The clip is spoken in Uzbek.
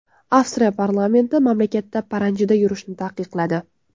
Avstriya parlamenti mamlakatda paranjida yurishni taqiqladi.